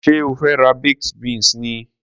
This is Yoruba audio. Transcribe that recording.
Ṣé o fe ra baked beans ni?